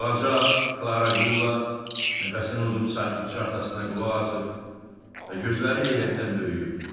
Balaca Klara Qulla nəfəsini udub sakitcə atasına qulaq asır və gözləri heyrətdən böyüyürdü.